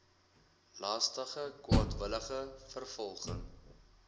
laster kwaadwillige vervolging